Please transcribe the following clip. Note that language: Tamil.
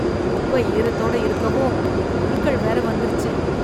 குப்பை ஈரத்துடன் இருக்கவும் புழுக்கள் வேற வந்துருச்சு.